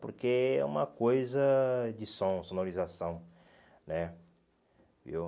Porque é uma coisa de som, sonorização, né? Viu